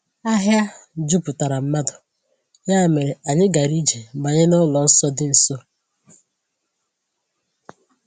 Ahịa juputara mmadụ, ya mere anyị gara ije banye n’ụlọ nsọ dị nso.